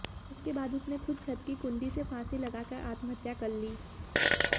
इसके बाद उसने खुद छत की कुंडी से फांसी लगाकर आत्महत्या कर ली